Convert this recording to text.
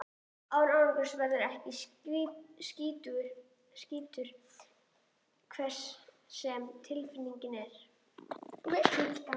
En árangurinn verður ekki slíkur, hver sem tilgangurinn er.